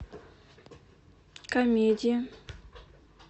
комедия